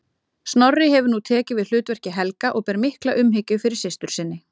Snorri hefur nú tekið við hlutverki Helga og ber mikla umhyggju fyrir systur sinni.